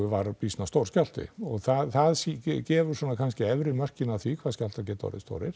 var býsna stór skjálfti það gefur svona kannski efri mörkin af því hvað skjálftar geta orðið stórir